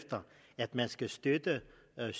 lade